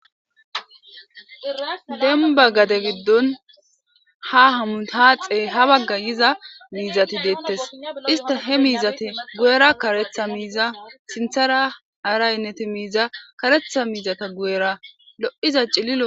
Demba gade giddon ha hamu haaxee ha bagga yiza miizati deettes ista he miizate gu'era karetha miiza sinthara araynneti miiza karetha miizata gu'era lo7iza cillillo